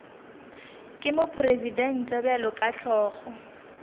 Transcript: ke mopresidente bjalo ka hlogo